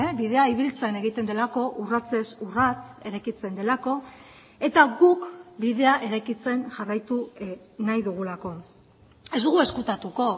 bidea ibiltzen egiten delako urratsez urrats eraikitzen delako eta guk bidea eraikitzen jarraitu nahi dugulako ez dugu ezkutatuko